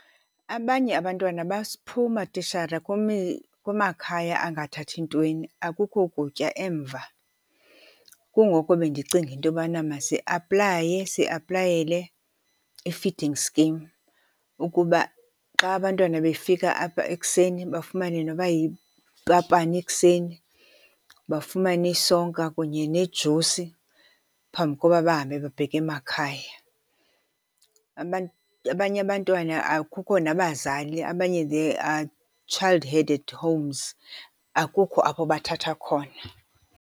Abanye abantwana baphuma tishara kumakhaya angathathi ntweni, akukho kutya emva. Kungoko bendicinga intobana masiaplaye siaplayele i-feeding scheme ukuba xa abantwana befika apha ekuseni bafumane noba yipapana ekuseni, bafumane isonka kunye nejusi phambi koba bahambe babheke makhaya. Abanye abantwana akukho nabazali, abanye they are child-headed homes, akukho apho bathatha khona.